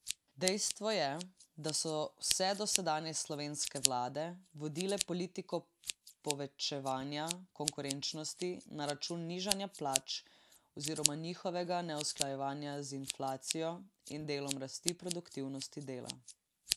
Dejstvo je, da so vse dosedanje slovenske vlade vodile politiko povečevanja konkurenčnosti na račun nižanja plač oziroma njihovega neusklajevanja z inflacijo in delom rasti produktivnosti dela.